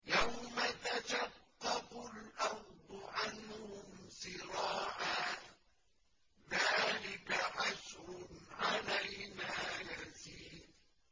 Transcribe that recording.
يَوْمَ تَشَقَّقُ الْأَرْضُ عَنْهُمْ سِرَاعًا ۚ ذَٰلِكَ حَشْرٌ عَلَيْنَا يَسِيرٌ